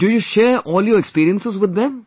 Do you share all your experiences with them